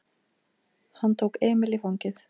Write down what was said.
Hann tók Emil í fangið.